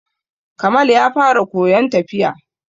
Kamal ya fara koyon tafiya.